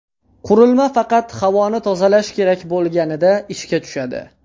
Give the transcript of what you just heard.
Qurilma faqat havoni tozalash kerak bo‘lganida ishga tushadi.